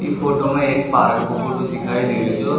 ई फोटो में एक पार्क को फोटो दिखाई दे रो छो।